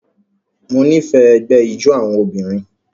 Mo nifẹ ẹgbẹ ijó awọn obinrin